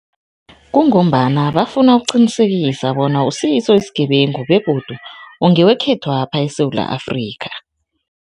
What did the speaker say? Kungombana bafuna ukuqinisekisa bona awusiso isigebengu begodu ungewekhethwapha eSewula Afrika.